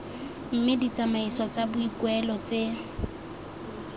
mme ditsamaiso tsa boikuelo tse